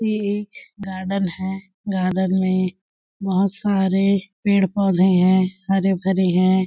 ये एक गार्डन है गार्डन में बहुत सारे पेड़-पौधे हैं हरे भरे हैं।